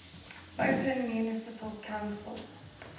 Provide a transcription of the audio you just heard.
open municipal council